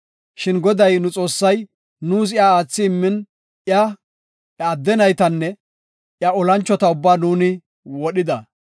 Shin Goday nu Xoossay nuus iya aathidi immin, iya, iya adde naytanne iya olanchota ubbaa nuuni wodhida.